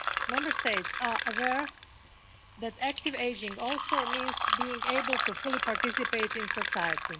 Member States are aware that active ageing also means being able to fully participate in society.